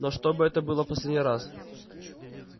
но чтобы это было в последний раз